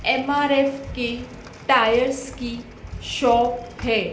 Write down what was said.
MRF की tyres की shop है।